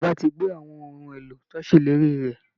Ìjọba ti gbé àwọn ohun èlò tí wọ́n ṣèlérí rẹ̀